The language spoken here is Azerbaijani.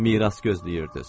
Miras gözləyirdiz.